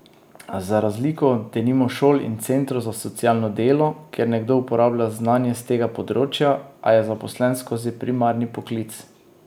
Za razliko od denimo šol in centrov za socialno delo, kjer nekdo uporablja znanja s tega področja, a je zaposlen skozi primarni poklic.